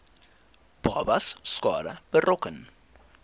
babas skade berokken